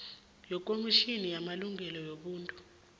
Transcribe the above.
yekomitjhini yamalungelo wobuntu